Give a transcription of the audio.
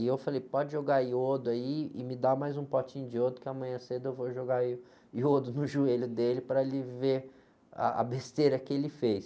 E eu falei, pode jogar iodo aí e me dá mais um potinho de iodo, que amanhã cedo eu vou jogar iodo no joelho dele para ele ver a, a besteira que ele fez.